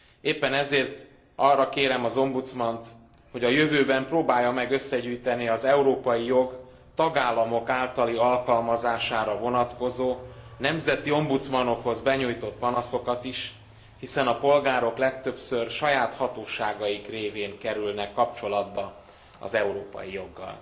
Éppen ezért arra kérem az ombudsmant, hogy a jövőben próbálja meg összegyűjteni az európai jog tagállamok általi alkalmazására vonatkozó, nemzeti ombudsmanokhoz benyújtott panaszokat is, hiszen a polgárok legtöbbször saját hatóságaik révén kerülnek kapcsolatba az európai joggal.